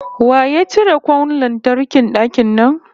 Wa ya cire kwan lantarkin dakin nan?